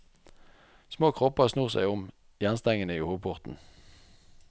Små kropper snor seg om jernstengene i hovedporten.